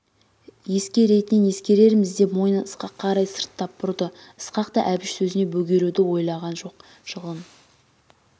еске-ретінін ескерерміз деп мойнын ысқаққа қарай сырттап бұрды ысқақ та әбіш сөзіне бөгелуді ойлаған жоқ жылын